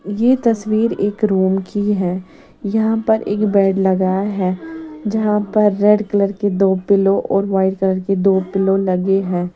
ये तस्वीर एक रूम की हैं यहाँ पर एक बेड लगाया हैं जहाँ पर रेड कलर की दो पिलो और व्हाइट कलर की दो पिलो लगे हैं।